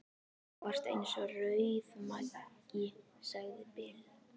Þú varst eins og rauðmagi, sagði Bill.